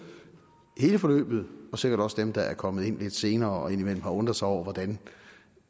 i hele forløbet og sikkert også dem der er kommet ind lidt senere og indimellem har undret sig over hvordan